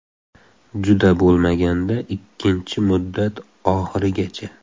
Juda bo‘lmaganda ikkinchi muddat oxirigacha.